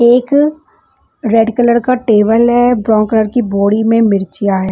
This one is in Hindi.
एक रेड कलर का टेबल है ब्राउन कलर की बोड़ी में मिर्चियाँ है --